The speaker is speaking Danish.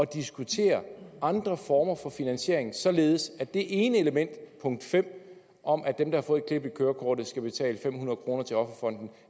diskutere andre former for finansiering således at det ene element punkt fem om at dem der har fået et klip i kørekortet skal betale fem hundrede kroner til offerfonden